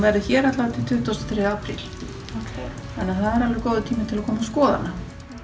verður hér til tuttugustu og þriðja apríl þannig það er alveg góður tími til að koma að skoða hana